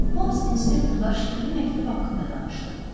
Holms inspektorla şifrəli məktub haqqında danışdı.